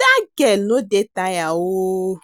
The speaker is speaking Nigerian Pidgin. Dat girl no dey tire oo,